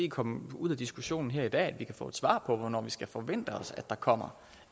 komme ud af diskussionen her i dag er at vi kan få et svar på hvornår vi skal forvente os at der kommer